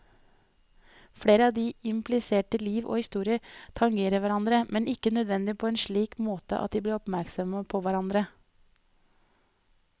Flere av de implisertes liv og historier tangerer hverandre, men ikke nødvendigvis på en slik måte at de blir oppmerksomme på hverandre.